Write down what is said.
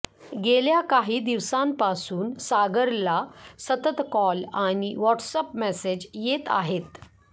गेल्या काही दिवसांपासून सागरला सतत कॉल आणि व्हॉट्सअॅप मेसेज येत आहेत